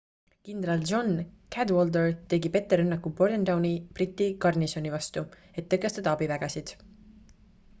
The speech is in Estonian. kindral john cadwalder tegi petterünnaku bordentowni briti garnisoni vastu et tõkestada abivägesid